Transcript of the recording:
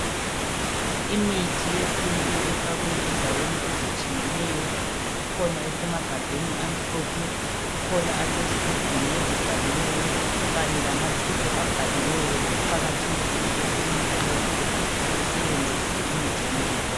Imithi yesintu efakwe endaweni ezitshiyeneyo. Ikhona esemagabheni amhlophe, kukhona asezigubhini abhaliweyo kanye lamatshubhu abhaliweyo. Kuqakathekile ukuthi umuntu nxa egula esebenzise imithi leyi.